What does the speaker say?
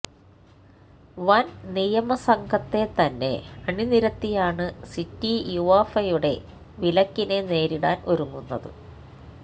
വന് നിയമ സംഘത്തെ തന്നെ അണിനിരത്തിയാണ് സിറ്റി യുവേഫയുടെ വിലക്കിനെ നേരിടാൻ ഒരുങ്ങുന്നത്